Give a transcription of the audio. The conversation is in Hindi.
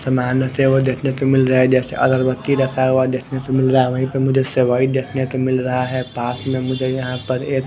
सामान से वो देखने को मिल रहा है जैसे अगरबत्ती रखा हुआ देखने को मिल रहा है वहीं पर मुझे सेवई देखने को मिल रहा है पास में मुझे यहाँ पर एक--